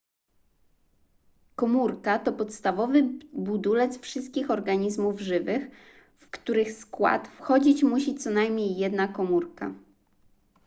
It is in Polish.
komórka to podstawowy budulec wszystkich organizmów żywych w których skład wchodzić musi co najmniej jedna komórka